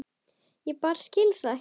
Ég bara skil það ekki.